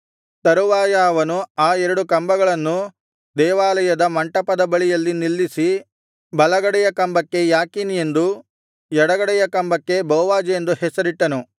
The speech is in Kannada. ತರುವಾಯ ಅವನು ಆ ಎರಡು ಕಂಬಗಳನ್ನೂ ದೇವಾಲಯದ ಮಂಟಪದ ಬಳಿಯಲ್ಲಿ ನಿಲ್ಲಿಸಿ ಬಲಗಡೆಯ ಕಂಬಕ್ಕೆ ಯಾಕೀನ್ ಎಂದೂ ಎಡಗಡೆಯ ಕಂಬಕ್ಕೆ ಬೋವಜ್ ಎಂದು ಹೆಸರಿಟ್ಟನು